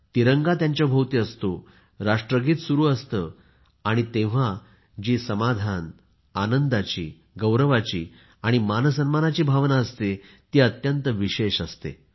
तिरंगा त्यांच्या भोवती असतो राष्ट्रगीत सुरु असते आणि तेव्हा जी समाधान आणि आनंदाची गौरवाची मान सन्मानाची भावना प्रत्येकामध्ये असते ती अत्यंत विशेष असते